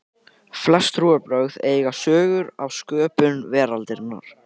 flest trúarbrögð eiga sögur af sköpun veraldarinnar